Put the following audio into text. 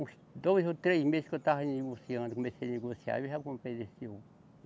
Uns dois ou três meses que eu estava negociando, comecei a negociar, eu já comprei desse ovo.